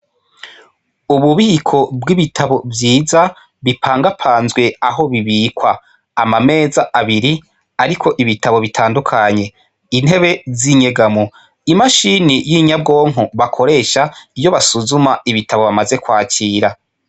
Ububiko bw' ibitabo vyiza bipangapanzwe aho bibikwa, ama meza abiri ariko ibitabo bitandukanye, intebe z' inyegamo , imashini y' inyabwonko bakoresha iyo basuzuma ibitabo bamaze kwakira.